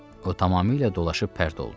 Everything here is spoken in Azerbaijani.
O tamamilə dolaşıb pərt oldu.